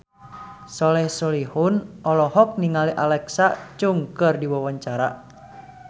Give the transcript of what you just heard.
Soleh Solihun olohok ningali Alexa Chung keur diwawancara